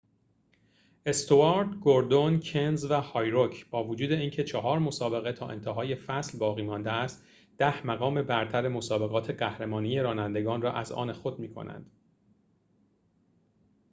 استوارت گوردون کنز و هارویک با وجود اینکه چهار مسابقه تا انتهای فصل باقی مانده است ده مقام برتر مسابقات قهرمانی رانندگان را از آن خود می کنند